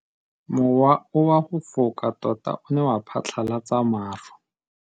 Mowa o wa go foka tota o ne wa phatlalatsa maru.